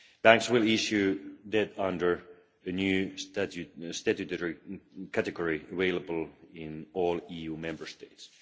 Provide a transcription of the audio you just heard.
Banks will issue debt under the new statutory category available in all EU Member States.